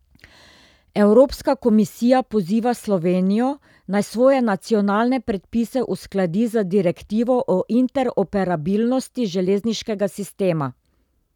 Evropska komisija poziva Slovenijo, naj svoje nacionalne predpise uskladi z direktivo o interoperabilnosti železniškega sistema.